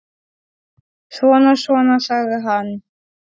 Svona, svona, sagði hann.